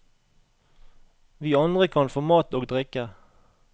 Vi andre kan få mat og drikke.